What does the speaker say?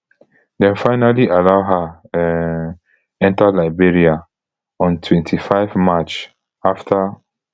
dem finally allow her um enta liberia on twenty-five march afta